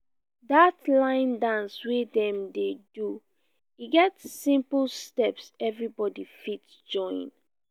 dat line dance wey dem dey do e get simple steps everybody fit join